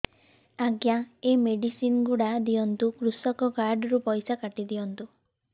ଆଜ୍ଞା ଏ ମେଡିସିନ ଗୁଡା ଦିଅନ୍ତୁ କୃଷକ କାର୍ଡ ରୁ ପଇସା କାଟିଦିଅନ୍ତୁ